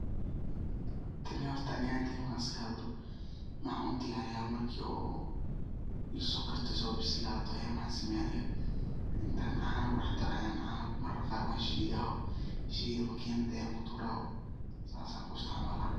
Kani ani ahaynteyda markan iskahadlo maxan udiyariya marki oo isokarto iso bislato ayan mxan sameyah aniga intan cano kudax daro ayan mar mar qar wanshida, makinad ayan kutura sas ayan sugayah.